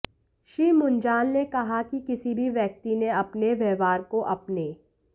श्री मुंजाल ने कहा कि किसी भी व्यक्ति ने अपने व्यवहार को अपने